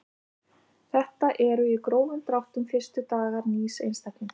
Þetta eru í grófum dráttum fyrstu dagar nýs einstaklings.